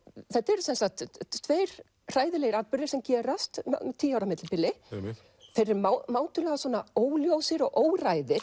þetta eru sem sagt tveir hræðilegir atburðir sem gerast með tíu ára millibili þeir eru mátulega óljósir og